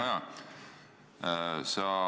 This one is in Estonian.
Hea Kaja!